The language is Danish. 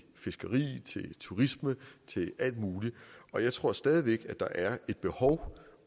fiskeri turisme og alt muligt og jeg tror stadig væk at der er et behov